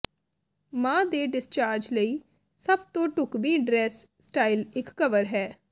ਮਾਂ ਦੇ ਡਿਸਚਾਰਜ ਲਈ ਸਭ ਤੋਂ ਢੁਕਵੀਂ ਡਰੈੱਸ ਸਟਾਈਲ ਇੱਕ ਕਵਰ ਹੈ